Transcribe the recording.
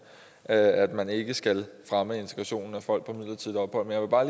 at man ikke skal fremme integrationen er folk på midlertidigt ophold jeg vil bare